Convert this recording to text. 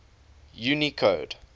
unicode